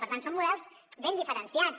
per tant són models ben diferenciats